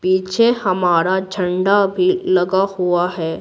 पीछे हमारा झंडा भी लगा हुआ है।